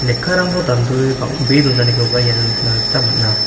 lekkarangko dandoe bang·bee donanikoba iano nikna gita man·a.